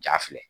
Ja filɛ